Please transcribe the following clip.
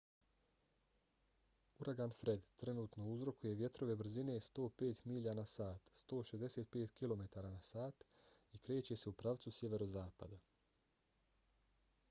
uragan fred trenutno uzrokuje vjetrove brzine 105 milja na sat 165 km/h i kreće se u pravcu sjeverozapada